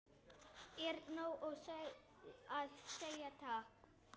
Er nóg að segja takk?